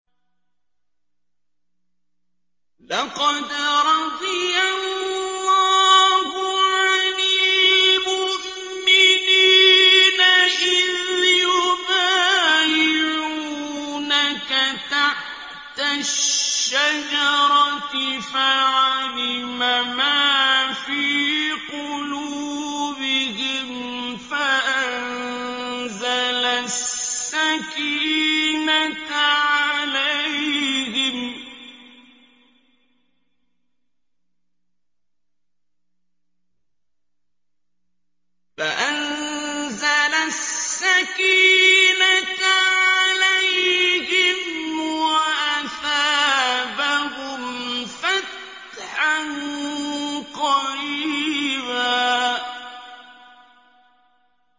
۞ لَّقَدْ رَضِيَ اللَّهُ عَنِ الْمُؤْمِنِينَ إِذْ يُبَايِعُونَكَ تَحْتَ الشَّجَرَةِ فَعَلِمَ مَا فِي قُلُوبِهِمْ فَأَنزَلَ السَّكِينَةَ عَلَيْهِمْ وَأَثَابَهُمْ فَتْحًا قَرِيبًا